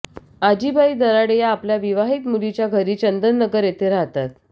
आजी बाई दराडे या आपल्या विवाहित मुलीच्या घरी चंदननगर येथे राहतात